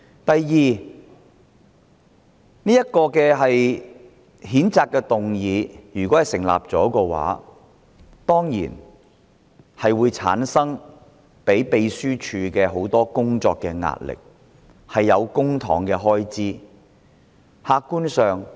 第二，這項譴責議案如果獲得通過，調查委員會得以成立，會增加秘書處的工作壓力，也涉及公帑的開支。